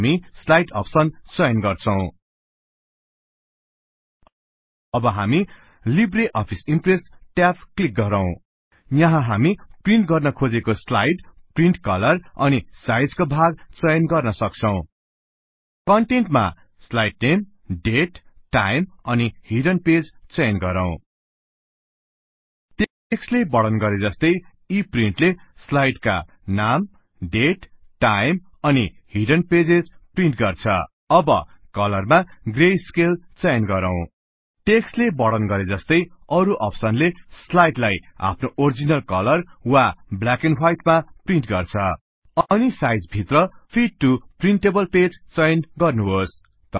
हामी slide option चयन गर्छौं अब हामी libre office impress tab click गरौँ यहाँ हामी प्रिन्ट गर्न खोजेको स्लाइड प्रिन्ट कलर अनि साइज का भाग चयन गर्न सक्छौं कन्टेन्ट मा स्लाइड नेम डेट टाइम अनि हिडन पेजेज चयन गरौँ टेक्स्ट ले वर्णन गरेजस्तै यी प्रिन्ट ले स्लाइड का नाम डेट टाइम अनि हिडन पेजेज प्रिन्ट गर्छ अब कलर मा ग्रे स्केल चयन गरौँ टेक्स्ट ले वर्णन गरेजस्तै अरु अप्सन ले स्लाइडलाई आफ्नो ओरिजिनल कलर वा ब्ल्याक एण्ड हवाइट मा प्रिन्ट गर्छ अनि साइज भित्र फिट टु प्रिन्टेबल पेज चयन गर्नुहोस्